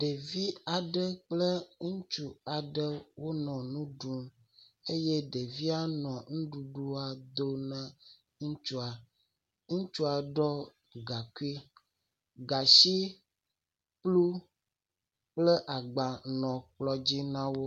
Ɖevi aɖe kple ŋutsu aɖe wonɔ nu ɖum eye ɖevia nɔ nuɖuɖua do ne ŋutsua. ŋutsua ɖɔ gaŋkui, gatsi kplu kple agba nɔ kplɔ dzi na wo.